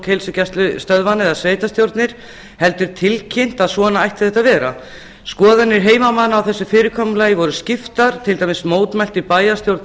heilsugæslustöðvanna eða sveitarstjórnir heldur tilkynnt að svona ætti þetta að vera skoðanir heimamanna á þessu fyrirkomulagi voru skiptar til dæmis mótmælti bæjarstjórn